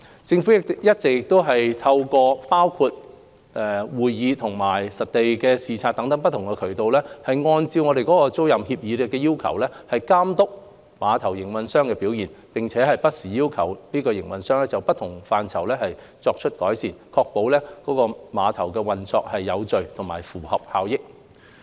政府一直透過包括會議和實地視察等不同途徑，按照租賃協議的要求監督碼頭營運商的表現，並不時要求碼頭營運商就不同範疇作出改善，確保郵輪碼頭運作有序及合乎效益。